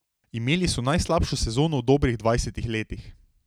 Imeli so najslabšo sezono v dobrih dvajsetih letih.